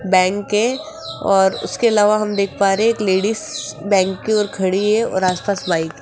bank है और उसके अलावा हम देख पा रहे हैं एक लेडीज बैंक की ओर खड़ी है और आस पास बाइक --